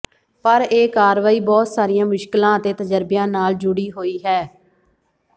ਪਰ ਇਹ ਕਾਰਵਾਈ ਬਹੁਤ ਸਾਰੀਆਂ ਮੁਸ਼ਕਿਲਾਂ ਅਤੇ ਤਜ਼ਰਬਿਆਂ ਨਾਲ ਜੁੜੀ ਹੋਈ ਹੈ